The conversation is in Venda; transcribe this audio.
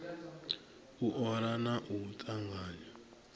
u ola na u tanganya